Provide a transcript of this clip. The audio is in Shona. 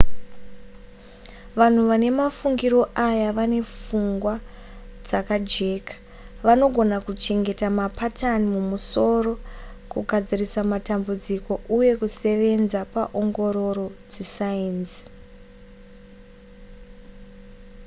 vanhu vane mafungiro aya vane pfungwa dzakajeka vanogona kuchengeta mapatani mumusoro kugadzirisa matambudziko uye kusevenza paongororo dzesainzi